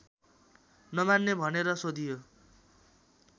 नमान्ने भनेर सोधियो